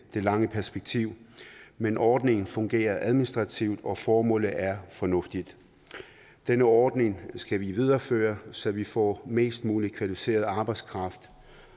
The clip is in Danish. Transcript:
det lange perspektiv men ordningen fungerer administrativt og formålet er fornuftigt denne ordning skal vi videreføre så vi får mest mulig kvalificeret arbejdskraft